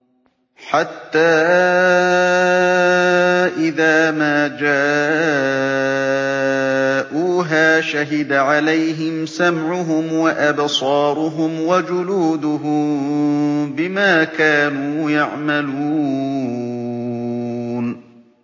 حَتَّىٰ إِذَا مَا جَاءُوهَا شَهِدَ عَلَيْهِمْ سَمْعُهُمْ وَأَبْصَارُهُمْ وَجُلُودُهُم بِمَا كَانُوا يَعْمَلُونَ